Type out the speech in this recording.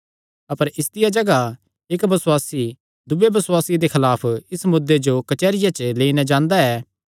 अपर इसदिया जगाह इक्क बसुआसी दूये बसुआसिये दे खलाफ इस मुद्दे जो कचेहरिया च लेई नैं जांदा ऐ